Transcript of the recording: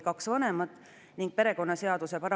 Palun võtta seisukoht ja hääletada!